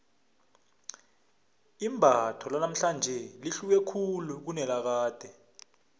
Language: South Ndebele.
imbatho lanamhlanje lihluke khulu kunelakade